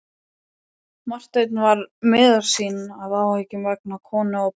Marteinn var miður sín af áhyggjum vegna konu og barna.